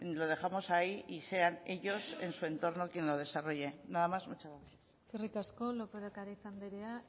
lo dejamos ahí y sean ellos en su entorno quien lo desarrolle nada más muchas gracias eskerrik asko lópez de ocariz anderea